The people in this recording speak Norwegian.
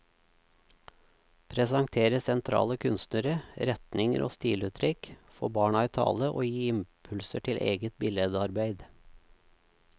Presentere sentrale kunstnere, retninger og stiluttrykk, få barna i tale og gi impulser til eget billedarbeid.